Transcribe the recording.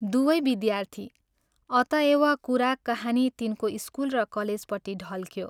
दुवै विद्यार्थी अतएव कुरा कहानी तिनको स्कूल र कलेजपट्टि ढल्क्यो।